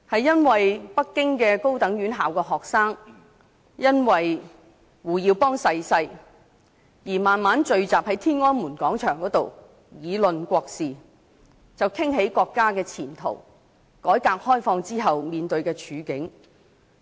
當時北京高等院校學生因為胡耀邦逝世而在天安門廣場聚集，議論國事，談到國家的前途，改革開放後面對的處境等。